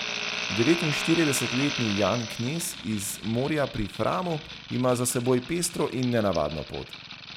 Devetinštiridesetletni Jan Knez iz Morja pri Framu ima za seboj pestro in nenavadno pot.